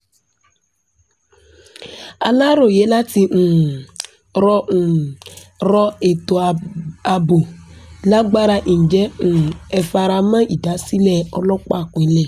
aláròye láti um rọ um rọ ètò ààbò lágbára ǹjẹ́ um ẹ fara mọ́ ìdásílẹ̀ ọlọ́pàá ìpínlẹ̀